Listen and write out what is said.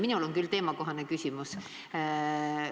Minul on küll teemakohane küsimus.